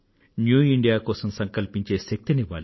new India కోసం సంకల్పించే శక్తిని ఇవ్వాలి